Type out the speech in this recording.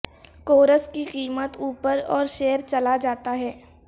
course کی قیمت اوپر اور شیئر چلا جاتا ہے